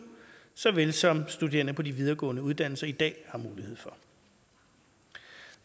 sådan som studerende på de videregående uddannelser i dag har mulighed